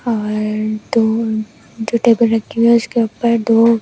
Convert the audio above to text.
और दो जो टेबल रखी है उसके ऊपर दो--